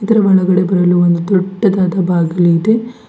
ಇದರ ಒಳಗಡೆ ಬರಲು ಒಂದು ದೊಡ್ಡದಾದ ಬಾಗಿಲು ಇದೆ.